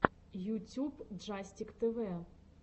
ютюб джастик тэвэ